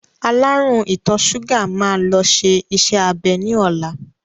Alárùn ìtọ̀ ṣúgà máa lọ ṣe iṣẹ́-abẹ ní ọ̀la.